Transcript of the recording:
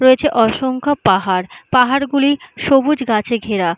রয়েছে অসংখ্য পাহাড় পাহাড় গুলি সবুজ গাছে ঘেরা।